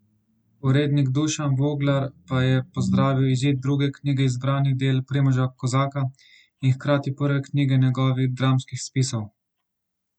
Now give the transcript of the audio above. Urednik Dušan Voglar pa je pozdravil izid druge knjige zbranih del Primoža Kozaka in hkrati prve knjige njegovih dramskih spisov.